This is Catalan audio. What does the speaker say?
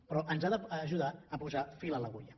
però ens ha d’ajudar a posar fil a l’agulla